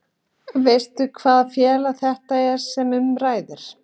Veistu hvaða félag þetta er sem um ræðir?